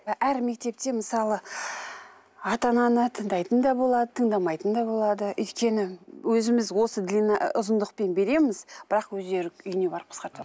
і әр мектепте мысалы ата ананы тыңдайтын да болады тыңдамайтын да болады өйткені өзіміз осы длина ұзындықпен береміз бірақ өздері үйіне барып қысқартады